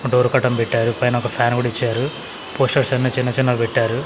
ఒక door curtain పెట్టారు పైన ఒక ఫ్యాన్ కూడా ఇచ్చారు పోస్టర్స్ అన్నీ చిన్న చిన్నవి పెట్టారు.